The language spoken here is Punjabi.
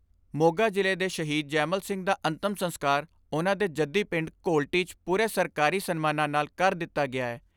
ਮੋਗਾ ਜ਼ਿਲ੍ਹੇ ਦੇ ਸ਼ਹੀਦ ਜੈਮਲ ਸਿੰਘ ਦਾ ਅੰਤਮ ਸੰਸਕਾਰ ਉਨ੍ਹਾਂ ਦੇ ਜੱਦੀ ਪਿੰਡ ਘੋਲਟੀ 'ਚ ਪੂਰੇ ਸਰਕਾਰੀ ਸਨਮਾਨਾਂ ਨਾਲ ਕਰ ਦਿੱਤਾ ਗਿਐ।